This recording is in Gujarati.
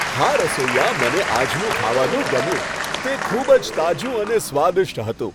હા, રસોઇયા, મને આજનું ખાવાનું ગમ્યું. તે ખૂબ જ તાજું અને સ્વાદિષ્ટ હતું.